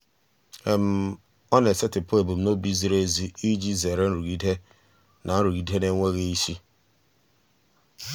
ọ na-esetịpụ ebumnobi ziri ezi iji zere nrụgide na nrụgide na-enweghị isi.